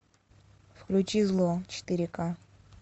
включи зло четыре ка